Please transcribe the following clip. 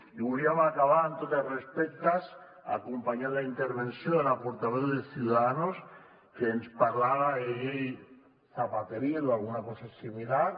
i volíem acabar amb tots els respectes acompanyant la intervenció de la portaveu de ciudadanos que ens parlava de llei zapateril o alguna cosa similar